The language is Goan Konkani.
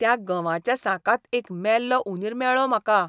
त्या गंवाच्या साकांत एक मेल्लो उंदीर मेळ्ळो म्हाका.